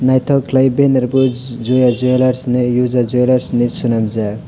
naitok kelai benner bo joya jewellers hinui user jewellers hinui selamjak.